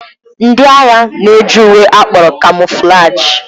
Ndị agha na-eji uwe akpọrọ kamoflaji.